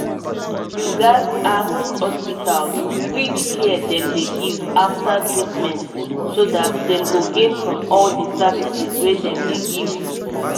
people um must rate um how um your hospital or clinic take treatment them so that dem go gain from the care wey hospital and clinic dey give